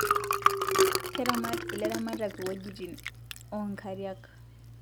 Keramat ilaramatak wejitin oo nkiriak